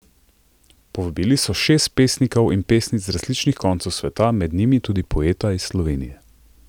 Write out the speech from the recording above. Povabili so šest pesnikov in pesnic z različnih koncev sveta, med njimi tudi poeta iz Slovenije.